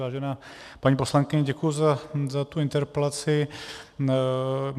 Vážená paní poslankyně, děkuji za tu interpelaci.